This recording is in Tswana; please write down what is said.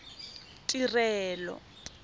tirelo